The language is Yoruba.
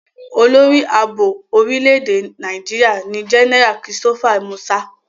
Olórí Ààbò orílẹ̀-èdè Nàìjíríà ni Jẹ́nẹ́rà Christopher Musa.